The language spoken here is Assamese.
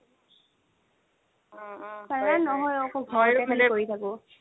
পাৰ্লাৰত নহয় ঔ অকল ঘৰতে কৰি থাকো।